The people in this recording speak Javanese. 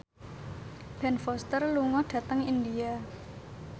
Ben Foster lunga dhateng India